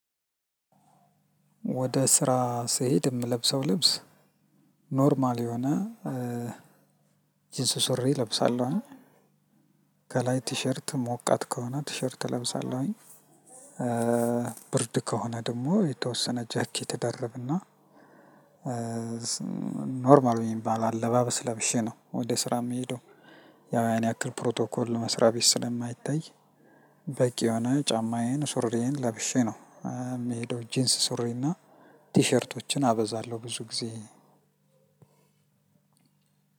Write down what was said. ወደ ስራ ስሄድ የምለብሰው ልብስ ኖርማል የሆነ ጅንስ ሱሬ እለብሳለሁኝ። ከላይ ቲሸርት ሞቃት ከሆነ ቲሸርት እለብሳለሁኝ። ብርድ ከሆነ ደግሞ የተወሰነ ጃኬት እደርብና- ኖርማል የሚባል አለባበስ ለብሼ ነው ወደ ስራ የምሄደው ያው ያን ያክል ፕሮቶኮል መስራት ስለማይታይ- በቂ የሆነ ጫማዬን ሱሪዬን ለብሼ ነው የሚሄደው ጂንስ ሱሪና- ቲሸርቶችን አበዛለሁ ብዙ ጊዜ።